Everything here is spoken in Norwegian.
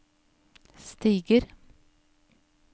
stiger